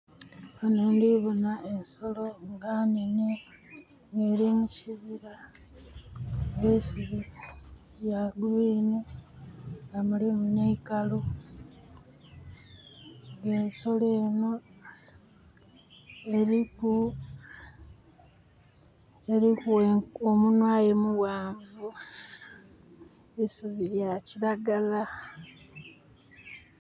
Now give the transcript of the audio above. Ghanho ndhiboonha ensolo nga nhene eri mu kibira nga eisubi lya kilagala mulimu neikalu nga ensolo enho eriku omunwa aye mughanvu, eisubi lya kilagala.